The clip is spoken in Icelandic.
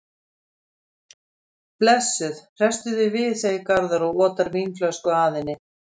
Þórarinn var manna ljótastur og bar það mest frá hversu illa hann var limaður.